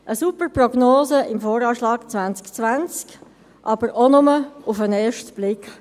Eine super Prognose im VA 2020, aber auch nur auf den ersten Blick.